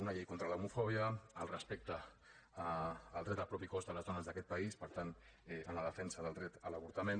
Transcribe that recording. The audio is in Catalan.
una llei contra l’homofòbia el respecte al dret al propi cos de les dones d’aquest país per tant en la defensa del dret a l’avortament